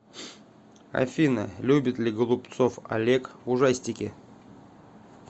афина любит ли голубцов олег ужастики